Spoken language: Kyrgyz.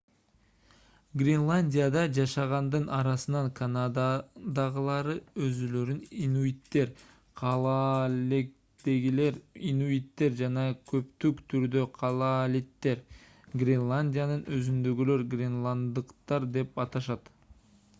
гренландияда жашагандын арасынан канададагылары өзүлөрүн инуиттер калааллегдегилер инуиттер жана көптүк түрдө калаалиттер гренландиянын өзүндөгүлөр гренланддыктар деп аташат